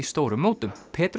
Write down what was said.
stórum mótum